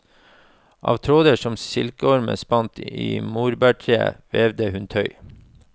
Av tråder som silkeormen spant i morbærtreet, vevet hun tøy.